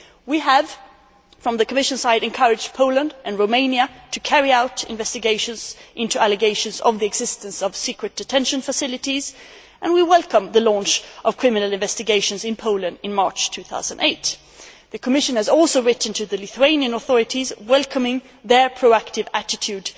We have, from the Commission side, encouraged Poland and Romania to carry out investigations into allegations of the existence of secret detention facilities, and we welcome the launch of criminal investigations in Poland in March 2008. The Commission has also written to the Lithuanian authorities welcoming their proactive attitude